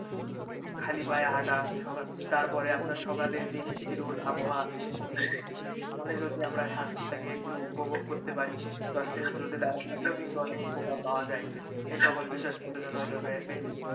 খালি পায়ে হাঁটা তার পরে সকালে যে মিষ্টি রোদ আবহাওয়া এখানে যদি আমরা স্বাস্থ্যটাকে একটু উপভোগ করতে পারি বা দশ minute রোদে দাঁড়াইয়া থাকলেও কিন্তু অনেক উপকার পাওয়া যায় এই সকল বিষয়ে সচেতন হতে হবে